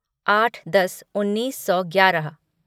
आठ दस उन्नीस सौ ग्यारह